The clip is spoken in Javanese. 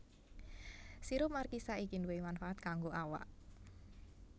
Sirup markisa iki duwè manfaat kanggo awak